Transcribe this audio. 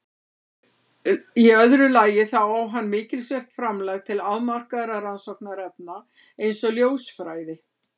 Í öðru lagi þá á hann mikilsvert framlag til afmarkaðra rannsóknarefna eins og ljósfræði.